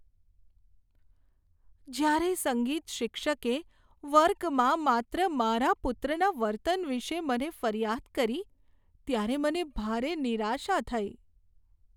જ્યારે સંગીત શિક્ષકે વર્ગમાં માત્ર મારા પુત્રના વર્તન વિશે મને ફરિયાદ કરી ત્યારે મને ભારે નિરાશા થઈ.